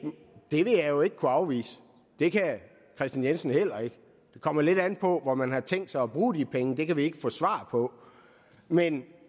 vil jeg jo ikke kunne afvise og det kan herre kristian jensen heller ikke det kommer lidt an på hvor man har tænkt sig at bruge de penge og det kan vi ikke få svar på men